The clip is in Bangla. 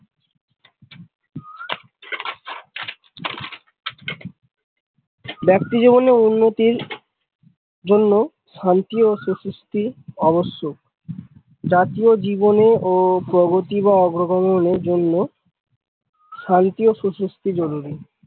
ব্যাক্তি জীবনের উন্নতির জন্য শান্তি ও সু সিস্থি অবশ্যক জাতি ও জীবনে প্রগতি ও অগ্র গমনে এর জন্য শান্তি ও সু সিস্থি জরুরি।